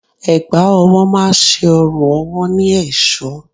Ẹ̀gbá ọwọ́ má ṣe ọrùn ọwọ́ ní èṣọ́.